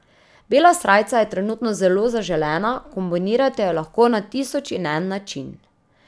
Bela srajca je trenutno zelo zaželena, kombinirate jo lahko na tisoč in en način.